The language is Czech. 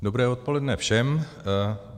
Dobré odpoledne všem.